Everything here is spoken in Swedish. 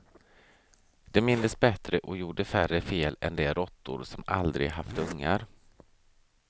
De mindes bättre och gjorde färre fel än de råttor som aldrig haft ungar.